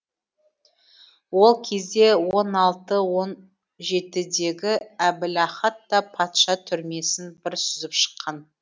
ол кезде он алты он жетідегі әбілахат та патша түрмесін бір сүзіп шыққан